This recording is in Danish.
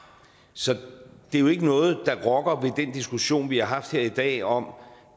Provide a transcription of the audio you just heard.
så det er jo ikke noget der rokker ved den diskussion vi har haft her i dag om